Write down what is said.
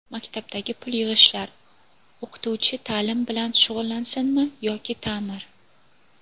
Maktabdagi pul yig‘ishlar: O‘qituvchi taʼlim bilan shug‘ullansinmi yoki taʼmir?.